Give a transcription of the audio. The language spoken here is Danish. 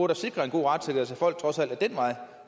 da sikre en god retssikkerhed så folk trods alt ad den vej